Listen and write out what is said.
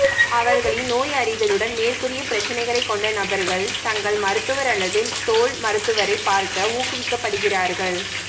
அவர்களின் நோயறிதலுடன் மேற்கூறிய பிரச்சினைகள் கொண்ட நபர்கள் தங்கள் மருத்துவர் அல்லது தோல் மருத்துவரை பார்க்க ஊக்குவிக்கப்படுகிறார்கள்